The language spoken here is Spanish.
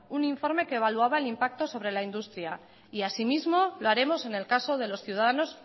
un informe que evaluaba el impacto sobre la industria y asimismo lo haremos en el caso de los ciudadanos